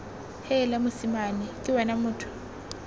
heela mosimane ke wena motho